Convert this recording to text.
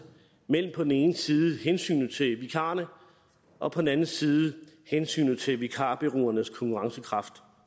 mellem på den ene side hensynet til vikarerne og på den anden side hensynet til vikarbureauernes konkurrencekraft